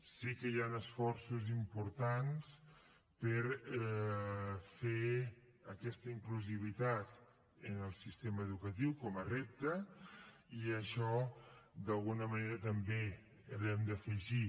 sé que hi han esforços importants per fer aquesta inclusivitat en el sistema educatiu com a repte i això d’alguna manera també ho hem d’afegir